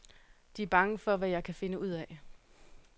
De er bange for, hvad jeg kan finde ud af.